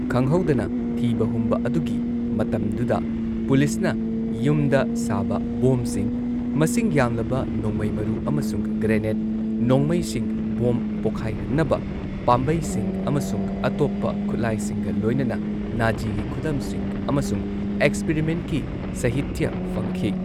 ꯈꯪꯍꯧꯗꯅ ꯊꯤꯕ ꯍꯨꯝꯕ ꯑꯗꯨꯒꯤ ꯃꯇꯝꯗꯨꯗ ꯄꯨꯂꯤꯁꯅ ꯌꯨꯝꯗ ꯁꯥꯕ ꯕꯣꯝꯕꯁꯤꯡ, ꯃꯁꯤꯡ ꯌꯥꯝꯂꯕ ꯅꯣꯡꯃꯩ ꯃꯔꯨ ꯑꯃꯁꯨꯡ ꯒꯔꯦꯅꯦꯗ, ꯅꯣꯡꯃꯩꯁꯤꯡ, ꯕꯣꯝꯕ ꯄꯣꯈꯥꯏꯍꯟꯅꯕ ꯄꯥꯝꯕꯩꯁꯤꯡ ꯑꯃꯁꯨꯡ ꯑꯇꯣꯞꯄ ꯈꯨꯠꯂꯥꯏꯁꯤꯡꯒ ꯂꯣꯏꯅꯅ ꯅꯥꯓꯤꯒꯤ ꯈꯨꯗꯝꯁꯤꯡ ꯑꯃꯁꯨꯡ ꯑꯦꯛꯁꯄꯤꯔꯤꯃꯦꯟꯠꯀꯤ ꯁꯍꯤꯇ꯭ꯌ ꯐꯪꯈꯤ꯫